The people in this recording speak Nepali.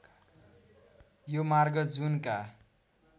यो मार्ग जूनका